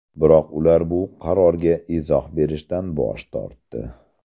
Biroq ular bu qarorga izoh berishdan bosh tortdi.